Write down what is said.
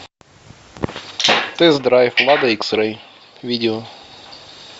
тест драйв лада икс рей видео